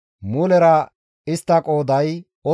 mulera istta qooday 8,580.